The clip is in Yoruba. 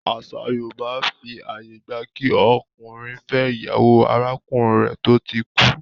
Àṣà yóòbá fi àyè gba kí ọkùnrin fẹ́ ìyàwó arákùnrin rẹ̀ tó ti kú